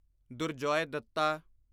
Durjoy Dutta